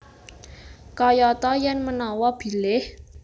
Kayata yen manawa bilih